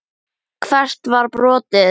Hvert var brotið?